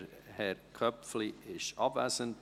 » Herr Köpfli ist abwesend.